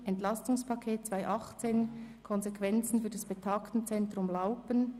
«Entlastungspaket 2018 – Konsequenzen für das Betagtenzentrum Laupen».